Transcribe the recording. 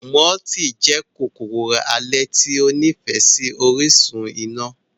Mooti jẹ́ kòkòrò alẹ́ tí ó nífẹ̀ẹ́ sí orísun iná.